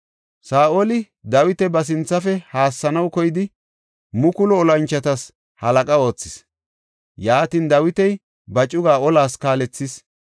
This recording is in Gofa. Saa7oli Dawita ba sinthafe haassanaw koyidi mukulu olanchotas halaqa oothis. Yaatin, Dawiti ba cugaa olas kaalethis.